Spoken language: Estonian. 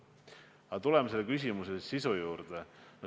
Aga tuleme selle küsimuse sisu juurde.